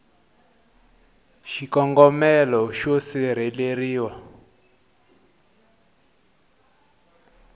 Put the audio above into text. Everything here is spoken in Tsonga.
xikombelo xa xileriso xo sirheleriwa